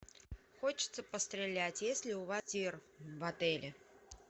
хочется пострелять есть ли у вас тир в отеле